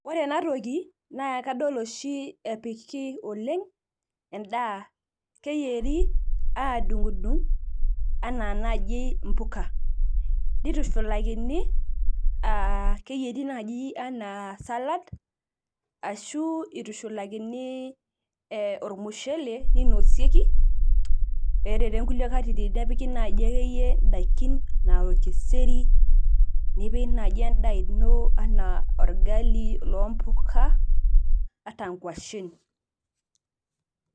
Ore enatoki na kadol oshi epiki oleng endaa keyieri adung dung anaa mpuka nitushulakini aa keyieri nai ana salad ashu itushulakini ormushele ninosieki ore tonkulie katitin nepiki ake yie ndakin na orkeser nipik endaa ino ana orgali ompuka ata nkwashen.